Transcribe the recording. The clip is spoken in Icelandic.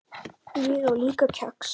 Ég á líka kex.